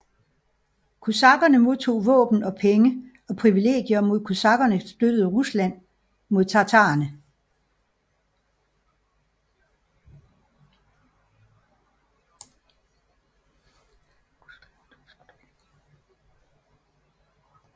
Kosakkerne modtog våben og penge og privilegier mod at kosakkerne støttede Rusland mod tatarerne